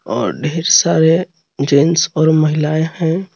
और ढेर सारे जेंट्स और महिलाएं हैं।